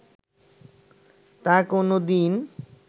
তা কোনো দিন